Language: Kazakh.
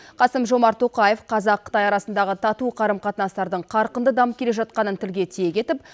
қасым жомарт тоқаев қазақ қытай арасындағы тату қарым қатынастардың қарқынды дамып келе жатқанын тілге тиек етіп